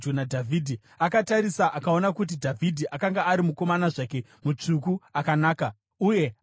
Akatarisa akaona kuti Dhavhidhi akanga ari mukomana zvake, mutsvuku, akanaka, uye akamuzvidza.